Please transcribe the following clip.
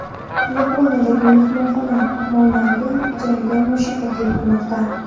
Yaponiyadagi mehmonxona mehmonlariga ijaraga mushuk taklif qilinmoqda.